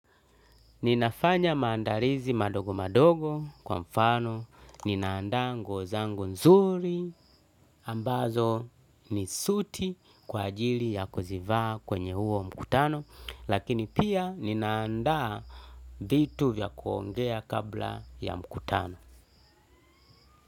Ninafanya maandalizi madogo madogo kwa mfano ninaanda nguo zangu nzuri ambazo ni suti kwa ajili ya kuzivaa kwenye huo mkutano lakini pia ninaanda vitu vya kuongea kabla ya mkutano.